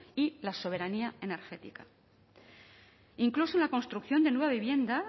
y la soberanía energética e incluso la construcción de nueva vivienda